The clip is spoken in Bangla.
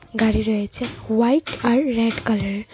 গাড়ি রয়েছে হোয়াইট আর রেড কালারের।